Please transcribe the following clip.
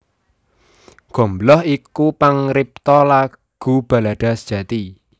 Gombloh iku pangripta lagu balada sejati